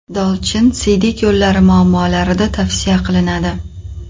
Dolchin Dolchin siydik yo‘llari muammolarida tavsiya qilinadi.